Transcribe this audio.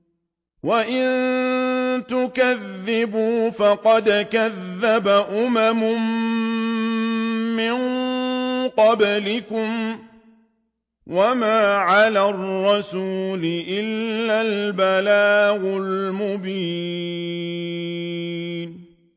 وَإِن تُكَذِّبُوا فَقَدْ كَذَّبَ أُمَمٌ مِّن قَبْلِكُمْ ۖ وَمَا عَلَى الرَّسُولِ إِلَّا الْبَلَاغُ الْمُبِينُ